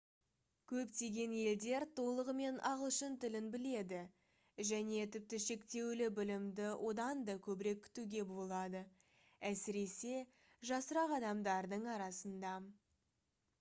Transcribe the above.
көптеген елдер толығымен ағылшын тілін біледі және тіпті шектеулі білімді одан да көбірек күтуге болады әсіресе жасырақ адамдардың арасында